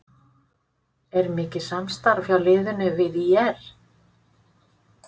Er mikið samstarf hjá liðinu við ÍR?